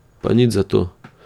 Pa nič zato!